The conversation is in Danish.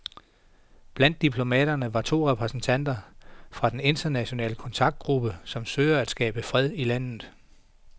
Blandt diplomaterne var to repræsentanter fra den internationale kontaktgruppe, som søger at skabe fred i landet.